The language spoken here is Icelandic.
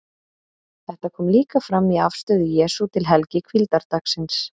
Þetta kom líka fram í afstöðu Jesú til helgi hvíldardagsins.